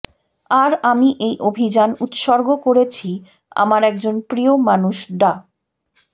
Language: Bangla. আর আমি এই অভিযান উৎসর্গ করেছি আমার একজন প্রিয় মানুষ ডা